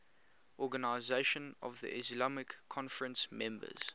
organisation of the islamic conference members